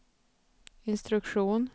instruktion